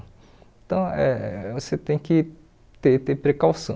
Então, eh você tem que ter ter precaução.